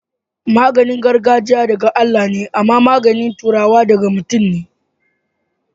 magani gargajia da ga Allah me ama magani turawa daga mutum ne